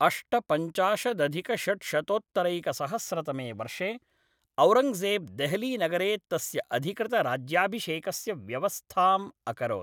अष्टपञ्चाशदधिकषड्शतोत्तरैकसहस्रतमे वर्षे, औरङ्गजेब् देहलीनगरे तस्य अधिकृतराज्याभिषेकस्य व्यवस्थाम् अकरोत्।